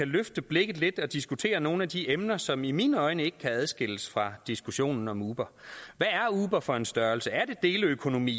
løfte blikket lidt og diskutere nogle af de emner som i mine øjne ikke kan adskilles fra diskussionen om uber hvad er uber for en størrelse er det deleøkonomi